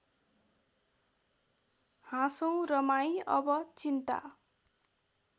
हाँसौँ रमाई अब चिन्ता